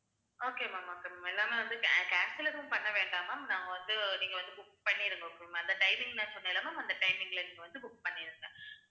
okay ma'am okay ma'am எல்லாமே வந்து can~ cancel எதுவும் பண்ண வேண்டாம் ma'am நாங்க வந்து, நீங்க வந்து book பண்ணிருங்க okay வா ma'am அந்த timing நான் சொன்னேல்ல அந்த timing ல நீங்க வந்து book பண்ணிடுங்க